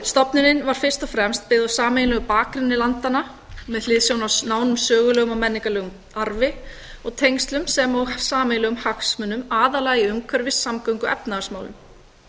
stofnunin var fyrst og fremst byggð á sameiginlegum bakgrunni landanna með hliðsjón af nánum sögulegum og menningarlegum arfi og tengslum sem og sameiginlegum hagsmunum aðallega í umhverfis samgöngu og efnahagsmálum